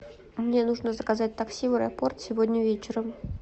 мне нужно заказать такси в аэропорт сегодня вечером